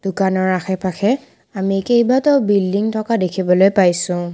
দোকানৰ আশে-পাশে আমি কেইবাটাও বিল্ডিং থকা দেখিবলৈ পাইছোঁ।